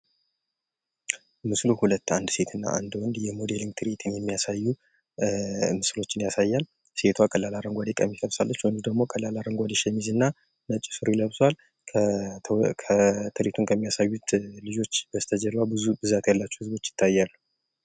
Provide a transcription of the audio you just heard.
ምስሉ ሁለት አንድ ሴት እና አንድ ወንድ የሞዴሊግ ትርዒት የሚያሳዩ ኧ ምስሎችን ያሳያል። ሴቷ ቀላል አረንጓዴ ቀሚስ ለብሳለች። ወንዱ ደግሞ ቀላል አረንጓዴ ሸሚዝ እና ነጭ ሱሪ ለብሷል። ኧ ትርዒቱን ከሚያሳዩት ልጆች በስተጀርባ ብዙ ብዛት ያላቸው ህዝቦች ይታያሉ።